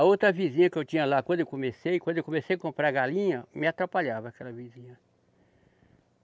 A outra vizinha que eu tinha lá, quando eu comecei, quando eu comecei a comprar galinha, me atrapalhava aquela vizinha.